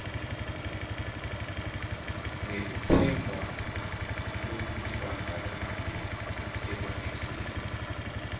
ngelitsemba lwekutibandzakanya ekwatiseni